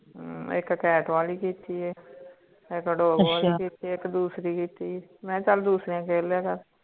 ਅਹ ਇਕ cat ਵਾਲੀ ਕੀਤੀ ਹੈ ਇਕ dog ਵਾਲੀ ਕੀਤੀ ਹੈ ਇਕ ਦੂਸਰੀ ਕੀਤੀ ਹੈ ਮੈਂ ਚਲ ਦੂਸਰਿਆਂ ਖੇਲ ਲਿਆ ਕਰ